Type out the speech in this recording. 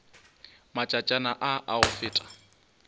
matšatšana a a go feta